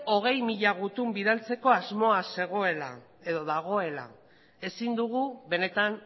hogei mila gutun bidaltzeko asmoa zegoela edo dagoela ezin dugu benetan